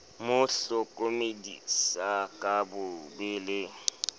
mo hlokomedisa ka bobe le